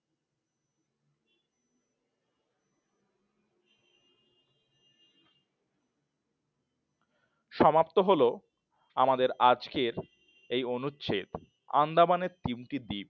সমাপ্ত হল আমাদের আজকের এই অনুচ্ছেদ আন্দামানের তিনটি দ্বীপ